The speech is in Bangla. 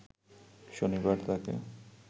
শনিবার তাকে